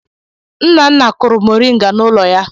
Nna nna kụrụ mọrịnga n'ụlọ ya.